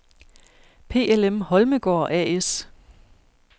PLM Holmegaard A/S